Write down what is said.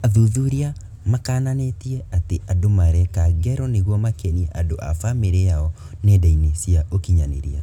Athuthuria makananĩtie atĩ andũ mareka ngero nĩguo makenie andũ a famĩrĩ yao nenda-inĩ cia ũkinyanĩria